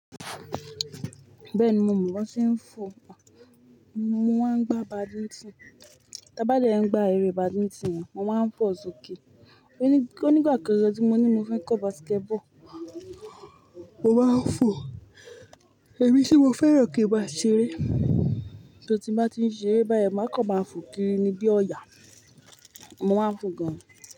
Bẹ́ẹ̀ni, mo mọ̀ bó ṣe ń fò, mo máa ń gbá badimítìn. Tábà dèń gbá eré badimítìn, mo máa ń fò sókè. Onígbàkan gan ti mó ní mo fẹ́ kọ́ basketball, mo máa ń fò. Èmi tì mo fẹ́ràn kí n máa ṣeré. Tori ti ń bàa tí n ṣeré báyìí, máa kọ̀ máa fò kiri nibi ọ̀yà, mo máa ń fò gan.